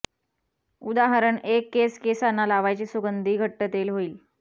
उदाहरण एक केस केसाना लावायचे सुगंधी घट्ट तेल होईल